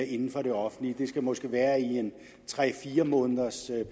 inden for det offentlige det skal måske være i en tre fire måneders